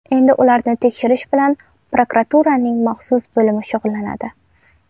Endi ularni tekshirish bilan prokuraturaning maxsus bo‘limi shug‘ullanadi.